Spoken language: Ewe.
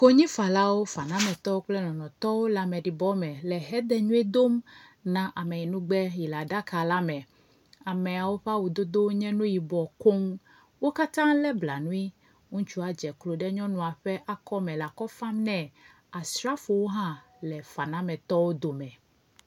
Konyifalawo, fanametɔwo kple lɔlɔ̃tɔwo le ameɖibɔme le xedenyuie dom na ameyinugbe si le aɖaka la me. Ameawo ƒe awudododwo nye nu yibɔ koŋ. Wo katã wo le blanui. Ŋutsu aɖe dze klo ɖe nyɔnua ƒe akɔ me le akɔ fam ne. Asrafowo hã le fanametɔwo dome.